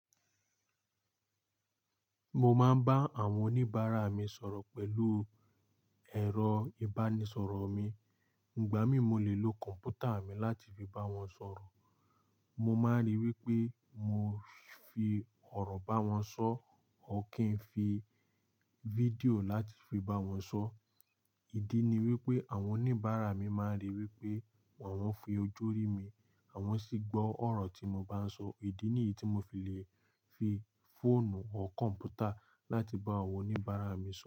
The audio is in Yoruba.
Mo máa ń bá àwọn oníbàárà mi sọ̀rọ̀ pẹ̀lú ẹ̀rọ ìbánisọ̀rọ̀ mi. Ìgbà míì, mo lè lo kọ̀mpútà mi láti fi bá wọn sọ̀rọ̀. Mo máa ríi wípé mo fi ọ̀rọ̀ bá wọn sọ̀ ọ́ kí n fi fídíò láti fi bá wọn sọ̀. Ìdí ni wípé àwọn oníbàárà mi máa ń ríi wípé wọ́n ń fi ojú rí mi àwọn sì gbọ́ ọ̀rọ̀ tí mo bá ń sọ. Ìdí nìyí tí mo fi lè fi fóònù ọ́ kọ̀mpútà láti bá àwọn oníbàárà mi sọ̀rọ̀.